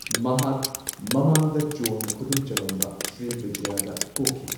ꯃꯍꯥꯛ ꯃꯃꯥꯡꯗ ꯆꯣꯜꯅ ꯈꯨꯗꯨꯝ ꯆꯜꯂꯝꯕ ꯁ꯭ꯔꯤꯕꯤꯖꯌꯗ ꯄꯣꯛꯈꯤ꯫